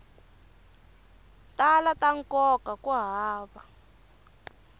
tala ta nkoka ku hava